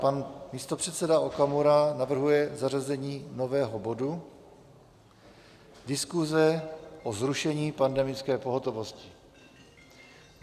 Pan místopředseda Okamura navrhuje zařazení nového bodu - Diskuse o zrušení pandemické pohotovosti.